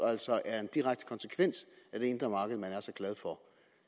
altså er en direkte konsekvens af det indre marked man er så glad for